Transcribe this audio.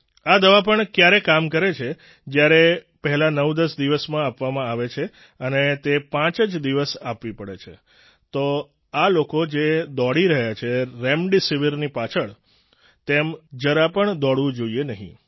આ દવા પણ ક્યારે કામ કરે છે જ્યારે પહેલા 910 દિવસમાં આપવામાં આવે છે અને તે પાંચ જ દિવસ આપવી પડે છે તો આ લોકો જે દોડી રહ્યા છે રેમડેસિવીરની પાછળ તેમ જરા પણ દોડવું જોઈએ નહીં